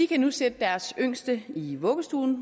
kan nu sætte deres yngste i vuggestuen